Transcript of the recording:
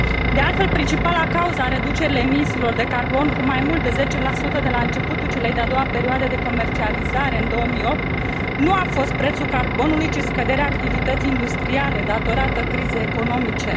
De altfel, principala cauză a reducerii emisiilor de carbon, cu mai mult de 10 de la începutul celei de a doua perioade de comercializare în 2008, nu a fost prețul carbonului, ci scăderea activității industriale, din cauza crizei economice.